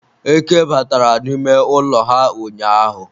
eke batara n'ime ụlọ ha ụnyaahụ